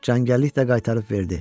Çəngəllik də qaytarıb verdi.